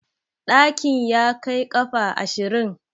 Ɗakin ya kai ƙafa ashirin?